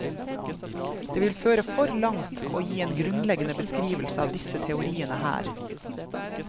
Det vil føre for langt å gi en grunnleggende beskrivelse av disse teoriene her.